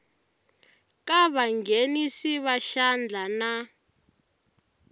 ka vanghenisi va xandla na